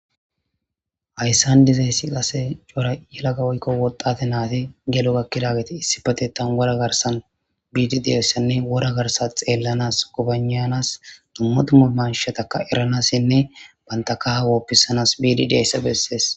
Hayisani dizayisi qase yelaga woyikko wxxate nayiti geli gakkiya geeti issippeteththani Wora garisani bidi dizayisanne wora garisa xeelanasinne gobananasi dumma dumma mishatakka eranasinne banitappe kaha hoppisanasi bidi dizayisa besesi